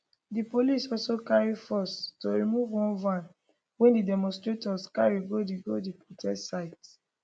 di police also carry force to remove one van wey di demonstrators carry go di go di protest site